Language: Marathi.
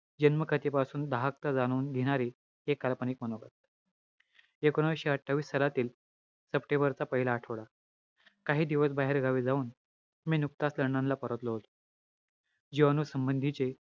जन्म स्थितीपासून दाहकता जाणून घेणारे हे काल्पनिक मनोगत. एकोणविशे अठ्ठावीस सालातील सप्टेंबरचा पहिला आठवडा, काही दिवस बाहेर फिरायला जाऊन मी नुकताच लंडनला परतलो होतो. जिवाणू संबंधीचे,